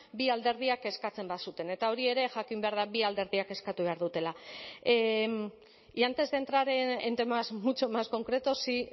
bi alderdiak eskatzen bazuten eta hori ere jakin behar da bi alderdiak eskatu behar dutela y antes de entrar en temas mucho más concretos sí